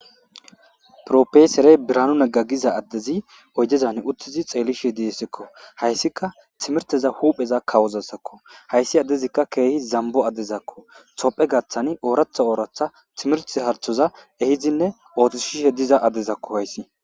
profeeserey biranu nagga giza addezi oyjezan uttizi xeellishe diessekko hayssika timirteza huupheza kawozasakko hayssi addezikka keehi zambo addezakko topphe gaththani ooratha ooratha timirte harthoza ehizinne ootos shishe diza addezakko hayssi